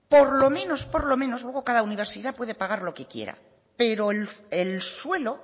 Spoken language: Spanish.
por lo menos luego cada universidad puede pagar lo que quiera pero el suelo